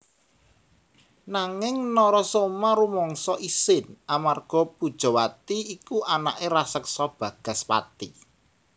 Nanging Narasoma rumangsa isin amarga Pujawati iku anaké raseksa Bagaspati